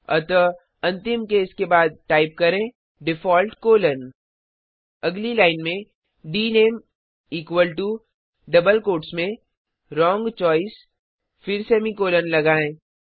अतः अंतिम केस के बाद टाइप करें डिफॉल्ट कोलोन अगली लाइन में dname equal to double quotes में व्रोंग चोइस फिर सेमीकॉलन लगायें